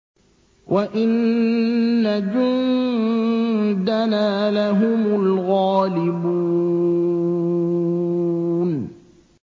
وَإِنَّ جُندَنَا لَهُمُ الْغَالِبُونَ